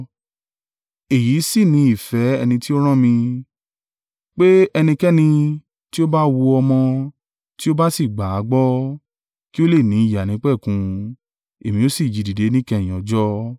Èyí sì ni ìfẹ́ ẹni tí ó rán mi, pé ẹnikẹ́ni tí ó bá wo ọmọ, tí ó bá sì gbà á gbọ́, kí ó lè ní ìyè àìnípẹ̀kun, Èmi ó sì jí i dìde níkẹyìn ọjọ́.”